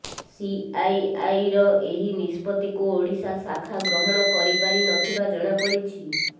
ସିଆଇଆଇର ଏହି ନିଷ୍ପତ୍ତିକୁ ଓଡ଼ିଶା ଶାଖା ଗ୍ରହଣ କରିପାରି ନଥିବା ଜଣାପଡ଼ିଛି